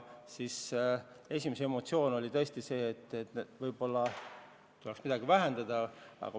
Nende esimene emotsioon oli see, et võib-olla tuleks neilgi midagi alandada.